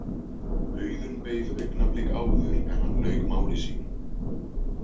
Auðunn beið augnablik áður en hann lauk máli sínu.